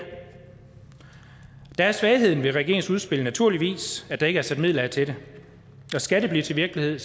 der er svagheden ved regeringens udspil naturligvis at der ikke er sat midler af til det og skal det blive til virkelighed